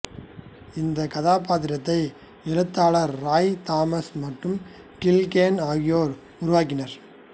இந்தக் கதாபாத்திரத்தை எழுத்தாளர் ராய் தாமஸ் மற்றும் கில் கேன் ஆகியோர் உருவாக்கினார்கள்